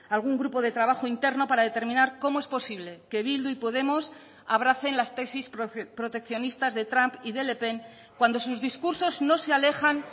algún grupo de trabajo interno para determinar cómo es posible que bildu y podemos abracen las tesis proteccionistas de trump y de le pen cuando sus discursos no se alejan